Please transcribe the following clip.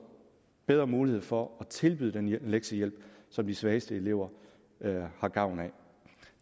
bedre mulighed for at tilbyde den lektiehjælp som de svageste elever har gavn af